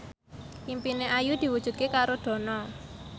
impine Ayu diwujudke karo Dono